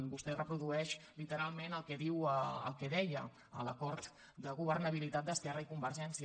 vostè reprodueix literalment el que diu el que deia l’acord de governabilitat d’esquerra i convergència